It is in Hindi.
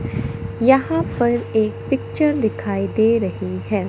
यहां पर एक पिक्चर दिखाई दे रही है।